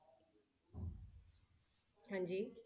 ਹਾਂਜੀ।